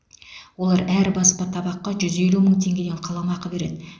олар әр баспа табаққа жүз елу мың теңгеден қаламақы береді